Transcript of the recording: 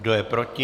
Kdo je proti?